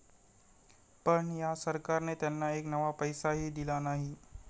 पण, या सरकारने त्यांना एक नवा पैसाही दिला नाही.